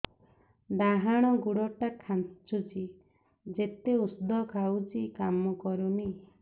ଡାହାଣ ଗୁଡ଼ ଟା ଖାନ୍ଚୁଚି ଯେତେ ଉଷ୍ଧ ଖାଉଛି କାମ କରୁନି